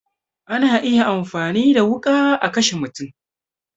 Ana iya amfani da wuƙa a kashe mutum